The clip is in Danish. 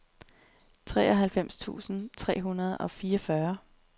treoghalvfems tusind tre hundrede og fireogfyrre